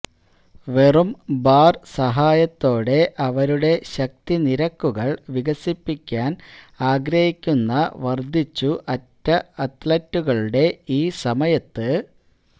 വെറും ബാർ സഹായത്തോടെ അവരുടെ ശക്തി നിരക്കുകൾ വികസിപ്പിക്കാൻ ആഗ്രഹിക്കുന്ന വർദ്ധിച്ചു അറ്റ അത്ലറ്റുകളുടെ ഈ സമയത്ത്